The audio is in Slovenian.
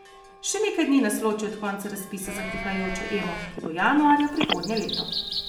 Še nekaj dni nas loči od konca razpisa za prihajajočo Emo, ki bo januarja prihodnje leto.